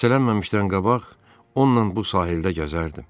Xəstələnməmişdən qabaq onunla bu sahildə gəzərdim.